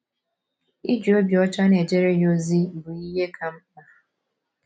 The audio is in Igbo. Iji obi ọcha na - ejere ya ozi bụ ihe ka mkpa. ”